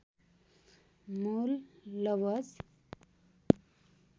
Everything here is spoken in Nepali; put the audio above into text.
मूल लवज